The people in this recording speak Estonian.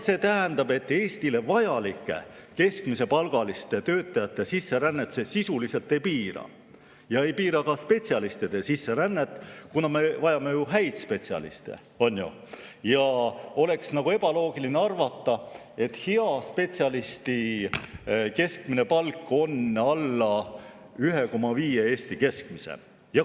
See tähendab, et Eestile vajalike keskmise palgaga töötajate sisserännet see sisuliselt ei piira ja ei piira ka spetsialistide sisserännet, kuna me vajame ju häid spetsialiste ja oleks ebaloogiline arvata, et hea spetsialisti keskmine palk on alla 1,5 Eesti keskmise palga.